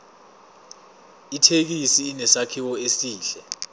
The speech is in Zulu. ithekisi inesakhiwo esihle